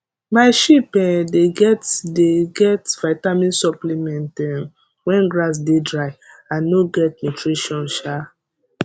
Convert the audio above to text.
my sheep um dey get dey get vitamin supplement um when grass dey dry and no get nutrition um